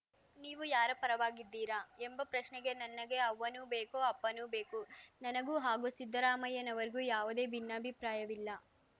ನೀವು ಯಾರ ಪರವಾಗಿದ್ದೀರಾ ಎಂಬ ಪ್ರಶ್ನೆಗೆ ನನಗೆ ಅವ್ವನೂ ಬೇಕು ಅಪ್ಪನೂ ಬೇಕು ನನಗೂ ಹಾಗೂ ಸಿದ್ದರಾಮಯ್ಯನವರಿಗೂ ಯಾವುದೇ ಭಿನ್ನಾಭಿಪ್ರಾಯವಿಲ್ಲ